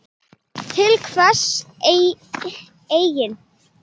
Til hvers eigin